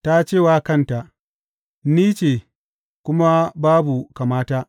Ta ce wa kanta, Ni ce, kuma babu kamata.